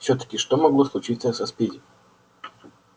всё-таки что могло случиться со спиди